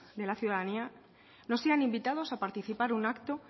de la ciudadanía no sean invitados a participar en un acto